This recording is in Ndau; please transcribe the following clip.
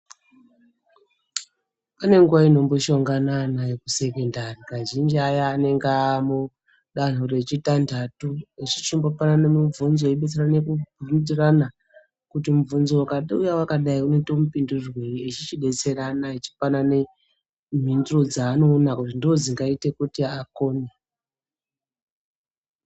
Pane nguwa inomboshongana ana ekusekondari kazhinji aya anenge aa mudanho rechitandatu echingopanana mibvunzo eidetserana kuitirana kuti mubvunzo ukauya wakadai unoite mapindurirwei eichichidetserana echipanana mhinduro dzaanoona kuti ndoodzingaite kuti akone.